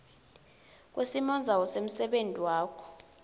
kwesimondzawo semsebenti wakho